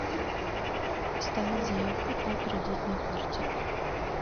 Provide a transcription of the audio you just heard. оставить заявку по кредитной карте